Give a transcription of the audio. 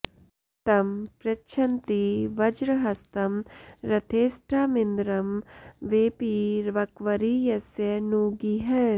तं पृ॒च्छन्ती॒ वज्र॑हस्तं रथे॒ष्ठामिन्द्रं॒ वेपी॒ वक्व॑री॒ यस्य॒ नू गीः